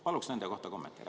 Paluksin nende kohta kommentaari.